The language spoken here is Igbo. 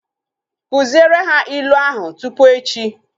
Kụziere ha ilu ahu tupu echi!